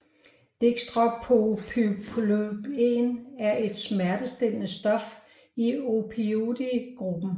Dextropropoxyphen er et smertestillende stof i opioid gruppen